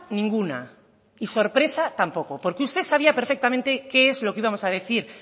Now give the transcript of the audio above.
ninguna y sorpresa tampoco porque usted sabía perfectamente qué es lo que íbamos a decir